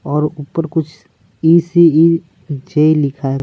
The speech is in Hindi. और ऊपर कुछ ई सी ई जे लिखा है।